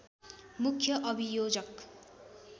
मुख्य अभियोजक